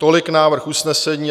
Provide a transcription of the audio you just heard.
Tolik návrh usnesení.